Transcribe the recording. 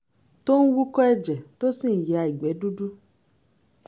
tó ń wúkọ́ ẹ̀jẹ̀ tó sì ń ya ìgbẹ́ dúdú